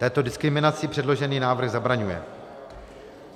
Této diskriminaci předložený návrh zabraňuje.